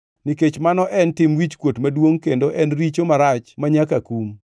Nikech mano en tim wichkuot maduongʼ kendo en richo marach manyaka kum,